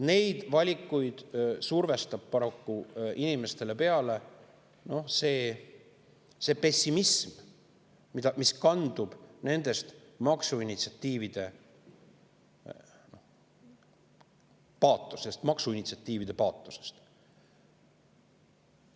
Seda valikut surub paraku inimestele peale see pessimism, mis kandub edasi nende maksuinitsiatiivide paatosest.